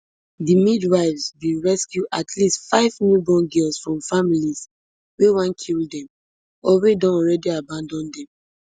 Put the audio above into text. di midwives bin rescue at least five newborn girls from families wey wan kill dem or wey don already abandon dem